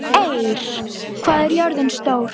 Eir, hvað er jörðin stór?